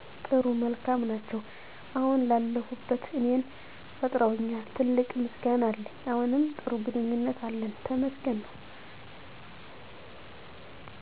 ጥሩ መልካም ናቸው። አሁን ላለሁበት እኔን ፈጥረውኛል ትልቅ ምሰገና አለኝ። አሁንም ጥሩ ግኑኝነት አለን ተመሰገን ነው።